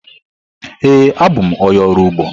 Ee, abụ m onye ọrụ ugbo.